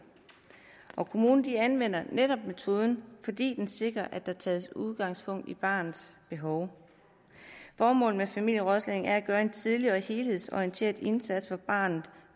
og kommunen anvender netop metoden fordi den sikrer at der tages udgangspunkt i barnets behov formålet med familierådslagning er at gøre en tidlig og helhedsorienteret indsats for barnet